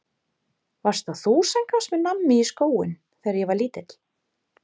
Varst það þú sem gafst mér nammi í skóinn þegar ég var lítill?